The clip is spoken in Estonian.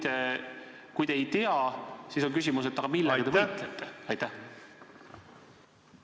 Ja kui te ei tea, siis on küsimus: aga millega te võitlete?